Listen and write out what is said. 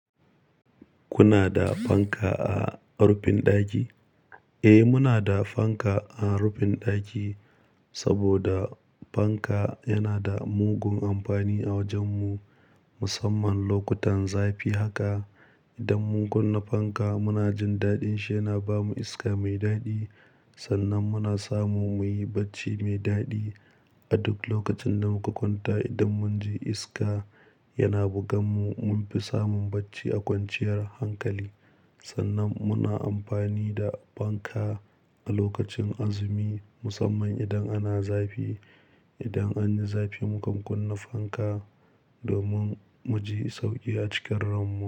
Kuna da fanka a rufin ɗaki? Eh, muna da fanka a rufin ɗaki saboda fanka yana da mugun amfani a wajen mu, musamman lokutan zafi haka. Idan mun kunna fanka muna jin daɗin shi yana ba mu iska mai daɗi. Sannan muna samu muyi bacci mai daɗi a duk lokacin da muka kwanta. Idan mun ji iska yana bugan mu, mun fi samun bacci a kwanciyar hankali. Sannan muna amfani da fanka a lokacin azumi musamman idan ana zafi. Idan anyi zafi muka kunna fanka domin mu ji sauƙi a cikin ran mu.